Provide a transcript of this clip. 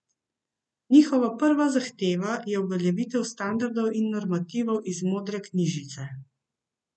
Njihova prva zahteva je uveljavitev standardov in normativov iz modre knjižice.